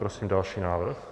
Prosím další návrh.